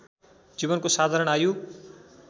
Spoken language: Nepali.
जीवनको साधारण आयु